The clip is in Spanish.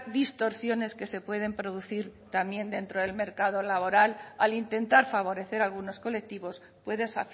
distorsiones que se pueden producir también dentro del mercado laboral al intentar favorecer algunos colectivos puedes